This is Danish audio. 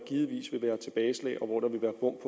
god